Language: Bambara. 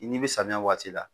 I n'i bɛ samiya waati la